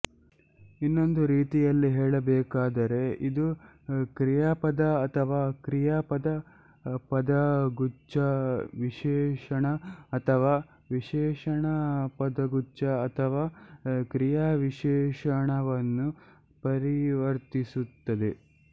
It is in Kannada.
ಇನ್ನೊಂದು ರೀತಿಯಲ್ಲಿ ಹೇಳಬೇಕಾದರೆ ಇದು ಕ್ರಿಯಾಪದ ಅಥವಾ ಕ್ರಿಯಾಪದ ಪದಗುಚ್ಛ ವಿಶೇಷಣ ಅಥವಾ ವಿಶೇಷಣ ಪದಗುಚ್ಛ ಅಥವಾ ಕ್ರಿಯಾವಿಶೇಷಣವನ್ನು ಪರಿವರ್ತಿಸುತ್ತದೆ